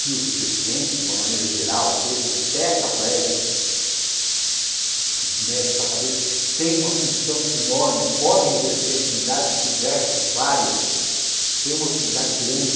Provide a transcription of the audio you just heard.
Que os deficientes, de uma maneira geral, sejam tetraplégicos, que mexe sua cabeça, tem uma função enorme, podem exercer atividades diversas, várias, têm uma utilidade grande.